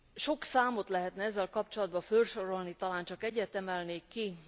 Sok számot lehetne ezzel kapcsolatban fölsorolni, talán csak egyet emelnék ki.